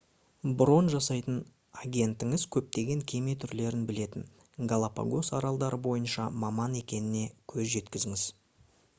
брон жасайтын агентіңіз көптеген кеме түрлерін білетін галапагос аралдары бойынша маман екеніне көз жеткізіңіз